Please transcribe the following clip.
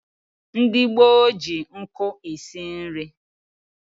Ndị gboo ji nkụ esi nri